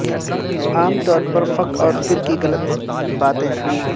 عام طور پر فک اور فر کی غلط باتیں